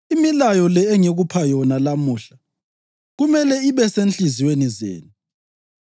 Imilayo le engikupha yona lamuhla kumele ibe sezinhliziyweni zenu.